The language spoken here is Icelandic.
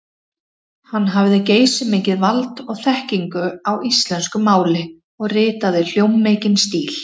Hann hafði geysimikið vald og þekkingu á íslensku máli og ritaði hljómmikinn stíl.